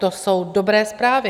To jsou dobré zprávy.